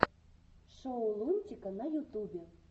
шоу лунтика на ютубе